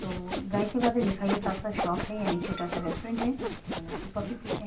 तो जाहीर सी बात है लिखा ही है साफ-साफ शॉप है यानी छोटा-सा रेस्टुरेंट है जहाँ लोग टी कॉफी पीते हैं।